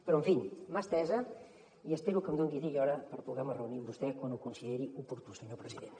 però en fi mà estesa i espero que em doni dia i hora per poder me reunir amb vostè quan ho consideri oportú senyor president